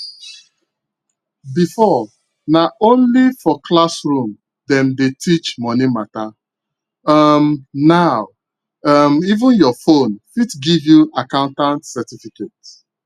before na only for classroom dem dey teach money matter um now um even your phone fit give you accountant certificate